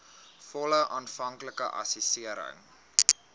volle aanvanklike assessering